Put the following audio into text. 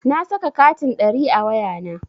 Na saka katin ɗari a wayana.